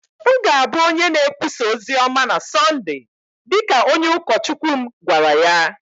M ga-abụ onye na-ekwusa ozi ọma na Sọnde, dị ka onye ụkọchukwu m gwara ya.